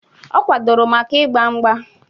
Ọ kwadororo maka ịgba mgba